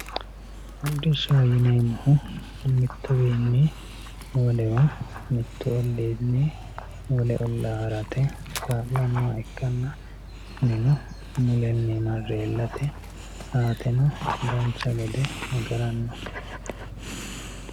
hodhishshaho yineemmohu mittuwiinni wolewa mittu olliinni wole ollaa harate kaa'lannoha ikkanna kunino mulenni marre iillate saateno dancha gede agaranno.